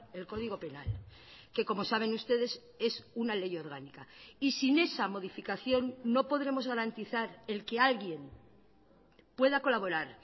el código penal que como saben ustedes es una ley orgánica y sin esa modificación no podremos garantizar el que alguien pueda colaborar